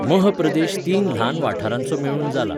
मह प्रदेश तीन ल्हान वाठारांचो मेळून जाला.